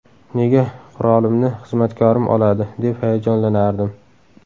Nega qurolimni xizmatkorim oladi, deb hayajonlanardim.